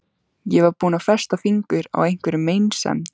Ég var þá búin að festa fingur á einhverri meinsemd.